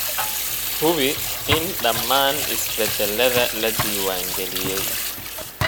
Hubi in dhammaan isbeddellada la diiwaangeliyay.